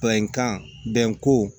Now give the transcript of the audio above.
Bɛnkan bɛnko